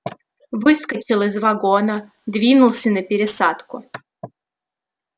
выскочил из вагона двинулся на пересадку